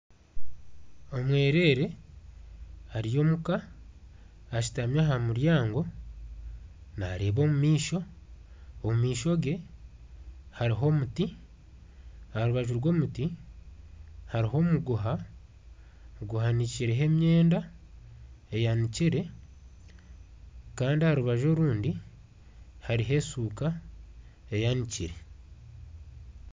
Omwerere ari omuka ashutami aha muryango naareeba omu maisho omu maisho gye harimu omuti aha rubaju rw'omuti hariho omuguha guhanikireho emyenda eyanikire kandi aha rubaju orundi hariho eshuuka eyanikire